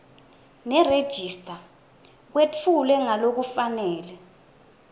nerejista kwetfulwe ngalokufanele